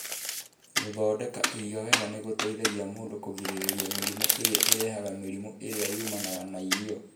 Gũthondeka irio wega nĩ gũteithagia mũndũ kũgirĩrĩria mĩrimũ ĩrĩa ĩrehaga mĩrimũ ĩrĩa yumanaga na irio.